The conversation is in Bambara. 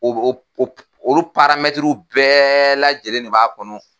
olu bɛɛ lajɛlen de b'a kɔnɔ.